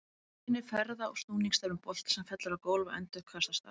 Myndin sýnir ferða- og snúningsstefnu bolta sem fellur á gólf og endurkastast af því.